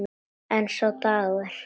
En sá dagur!